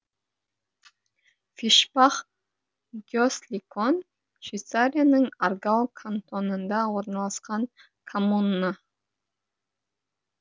фишбах гесликон швейцарияның аргау кантонында орналасқан коммуна